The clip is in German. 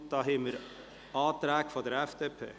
Es gibt Anträge vonseiten der FDP.